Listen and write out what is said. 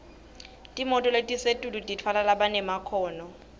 timoto letisetulu titfwala labanemakhono